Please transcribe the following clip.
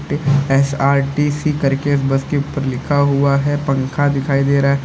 SRTC करके bus के ऊपर लिखा हुआ है पंखा दिखाई दे रहा है।